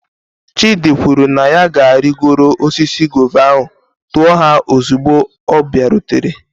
Chidi kwuru na ya ga-arịgoro osisi guava ahụ, tuo ha ozugbo ọ bịarutere.